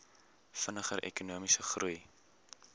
vinniger ekonomiese groei